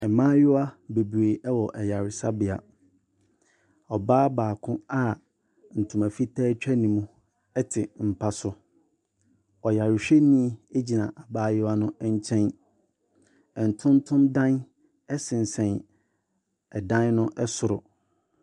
Mmaayiwa bebree ɛwɔ ayaresabea. Ɔbaa baako a ntoma fitaa etwa ne mu ɛte mpa so. Ɔyare hwɛni egyina abaayewa ne nkyɛn. Ntontom dan ɛsensɛn ɛdan no ɛsoro.